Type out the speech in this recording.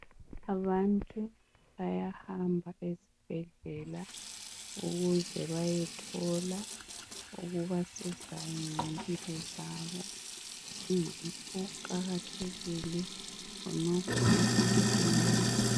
Abantu bayahamba ezibhedlela ukuze bayothola okubasizayo ngezimpilo zabo kuqakathekile khonokhu ebantwini